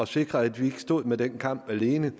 sikre at vi ikke stod med den kamp alene